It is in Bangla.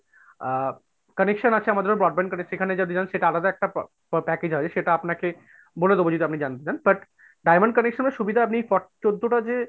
আ connection আছে আমাদের broadband এর সেখানে যদি নেন সেটা আলাদা একটা প~package হবে, সেটা আপনাকে বলে দিবো যদি আপনি জানতে চান but diamond connection এর সুবিধা আপনি চৌদ্দটা যে